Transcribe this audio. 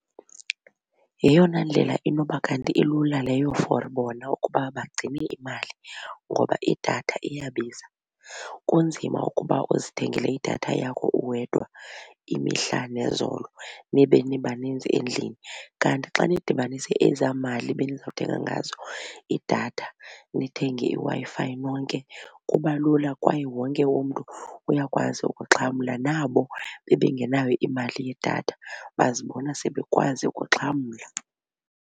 Yeyona ndlela inoba ngathi ilula leyo for bona ukuba bagcine imali ngoba idatha iyabiza. Kunzima ukuba uzithengele idatha yakho uwedwa imihla nezolo nibe nibaninzi endlini. Kanti xa nidibanise ezaa mali benizawuthenga ngazo idatha nithenge iWi-Fi nonke kuba lula kwaye wonke umntu uyakwazi ukuxhamla nabo bebengenayo imali yedatha bazibona sebekwazi ukuxhamla.